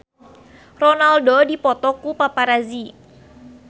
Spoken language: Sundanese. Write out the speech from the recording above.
Ronaldo dipoto ku paparazi